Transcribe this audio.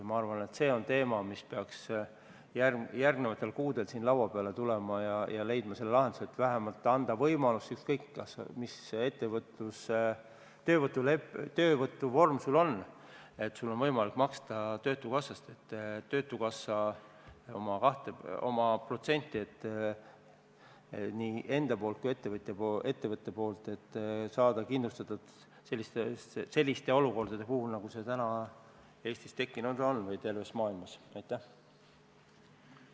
Ma arvan, et see on teema, mis peaks järgmistel kuudel siin laua peale tulema ja lahenduse leidma: anda võimalus – ükskõik mis ettevõtlus- või töövõtuvorm sul on – maksta töötukassasse ettenähtud protsent ning saada kindlustatud selliste olukordade puhuks, nagu täna Eestis ja kogu ülejäänud maailmas on tekkinud.